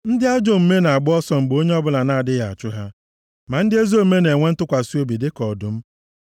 Ndị ajọ omume na-agba ọsọ mgbe onye ọbụla na-adịghị achụ ha, ma ndị ezi omume na-enwe ntụkwasị obi dịka ọdụm.